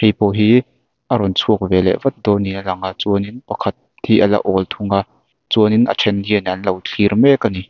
hei pawh hi a rawn chhuak ve leh vat dâwn niin a lang a chuanin pakhat hi a la âwl thung a chuan a ṭhen hian an lo thlîr mêk a ni.